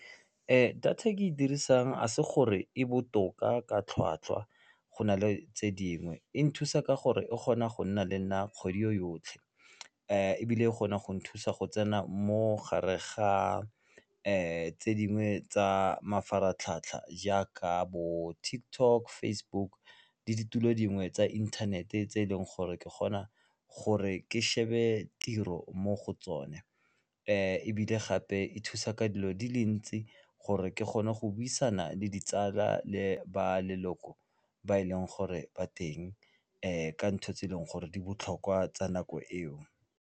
Data e ke e dirisang a se gore e botoka ka tlhwatlhwa go na le tse dingwe e nthusa ka gore e kgona go nna le nna kgwedi yotlhe ebile e kgona go nthusa go tsena mogare ga tse dingwe tsa mafaratlhatlha jaaka bo TikTok, Facebook le ditulo dingwe tsa inthanete tse e leng gore ke kgona gore ke shebe tiro mo go tsone ebile gape e thusa ka dilo di le ntsi gore ke kgona go buisana le ditsala le ba leloko ba e leng gore ba teng ka ntho tse e leng gore di botlhokwa tsa nako eo.